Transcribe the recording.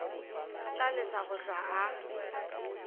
tla lesa go hlwa a